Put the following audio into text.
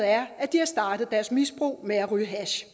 er at de har startet deres misbrug med at ryge hash